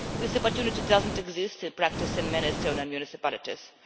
This opportunity does not exist in practice in many Estonian municipalities.